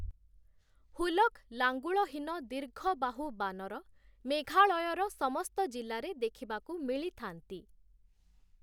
Hoolock ଲାଙ୍ଗୁଳହୀନ ଦୀର୍ଘବାହୁ ବାନର ମେଘାଳୟର ସମସ୍ତ ଜିଲ୍ଲାରେ ଦେଖିବାକୁ ମିଳିଥାନ୍ତି ।